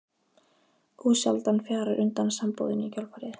Ósjaldan fjarar undan sambúðinni í kjölfarið.